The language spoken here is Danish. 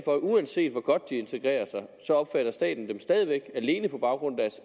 uanset hvor godt folk integrerer sig opfatter staten dem stadig væk sammen alene på grund